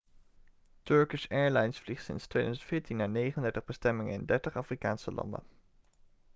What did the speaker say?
turkish airlines vliegt sinds 2014 naar 39 bestemmingen in 30 afrikaanse landen